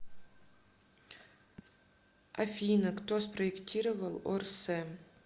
афина кто спроектировал орсэ